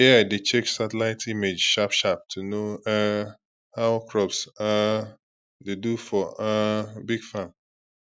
ai dey check satellite image sharp sharp to know um how crops um dey do for um big farm